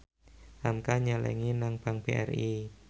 hamka nyelengi nang bank BRI